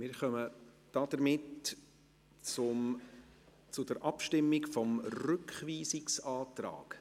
Wir kommen damit zur Abstimmung über den Rückweisungsantrag.